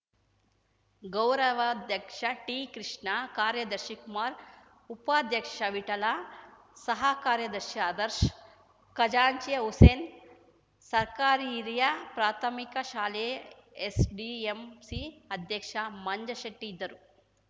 ಗೌರವಾಧ್ಯಕ್ಷ ಟಿಕೃಷ್ಣ ಕಾರ್ಯದರ್ಶಿ ಕುಮಾರ್ ಉಪಾಧ್ಯಕ್ಷ ವಿಠಲ ಸಹ ಕಾರ್ಯದರ್ಶಿ ಆದರ್ಶ್ ಖಜಾಂಚಿ ಹುಸೇನ್‌ ಸರ್ಕಾರಿ ಹಿರಿಯ ಪ್ರಾಥಮಿಕ ಶಾಲೆಯ ಎಸ್‌ಡಿಎಂಸಿ ಅಧ್ಯಕ್ಷ ಮಂಜಶೆಟ್ಟಿಇದ್ದರು